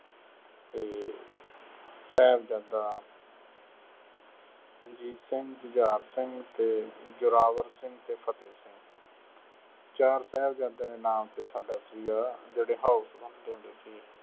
ਅਤੇ ਸਾਹਿਬਜ਼ਾਦਾ ਅਜੀਤ ਸਿੰਘ, ਜੁਝਾਰ ਸਿੰਘ ਅਤੇ ਜ਼ੋਰਾਵਰ ਸਿੰਘ ਅਤੇ ਫਤਹਿ ਚਾਰ ਸਾਹਿਬਜ਼ਾਦਿਆਂ ਦੇ ਨਾਂ ਤੇ ਸਾਡਾ ਸੀਗਾ ਜਿਹੜੇ house ਵੰਡਦੇ ਹੁੰਦੇ ਸੀ।